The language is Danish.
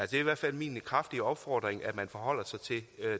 det er i hvert fald min kraftige opfordring at man forholder sig til